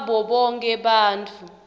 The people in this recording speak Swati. wabo bonkhe bantfu